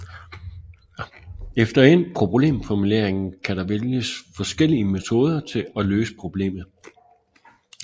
Efter endt problemformulering kan der vælges forskellige metoder til at løse problemet